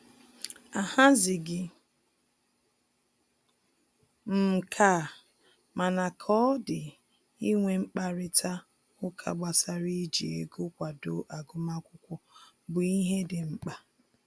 Ahazighị m nke a, mana ka ọ dị inwe mkparịta ụka gbasara iji ego kwado agụmakwụkwọ bụ ihe dị mkpa